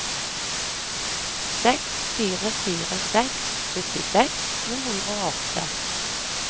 seks fire fire seks syttiseks to hundre og åtte